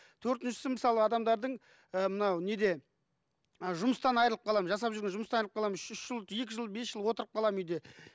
төртіншісі мысалы адамдардың і мынау неде жұмыстан айрылып қаламын жасап жүрген жұмыстан айырлып қаламын үшінші жыл екі жыл бес жыл отырып қаламын үйде